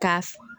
Ka f